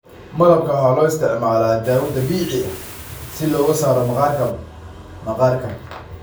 Malabka waxaa loo isticmaalaa dawo dabiici ah si looga saaro maqaarka maqaarka.